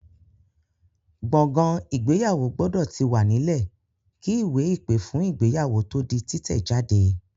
Gbọ̀ngàn ìgbéyàwó gbọ́dọ̀ ti wà nílẹ̀ kí ìwé-ìpè fún ìgéyàwó tó di títẹ̀ jáde.